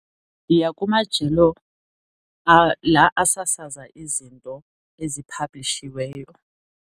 Ndiya kumajelo la asasaza izinto eziphablishiweyo.